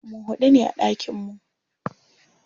Mu huɗu ne a ɗakin mu.